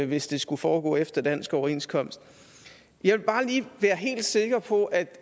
hvis det skulle foregå efter dansk overenskomst jeg vil bare lige være helt sikker på at